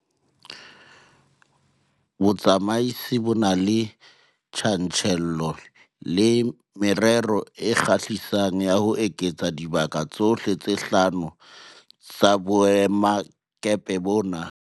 Botsamaisi bo na le tjantjello le merero e kgahlisang ya ho eketsa dibaka tsohle tse hlano tsa boemakepe bona.